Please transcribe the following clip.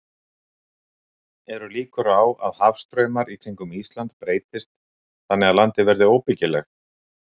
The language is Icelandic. Eru líkur á að hafstraumar í kringum Ísland breytist þannig að landið verði óbyggilegt?